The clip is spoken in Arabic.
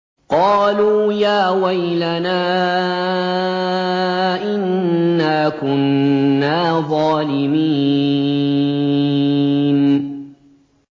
قَالُوا يَا وَيْلَنَا إِنَّا كُنَّا ظَالِمِينَ